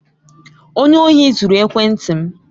Onye ohi zuru ekwenti m.